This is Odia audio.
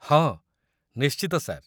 ହଁ, ନିଶ୍ଚିତ, ସାର୍ ।